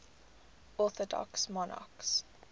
orthodox monarchs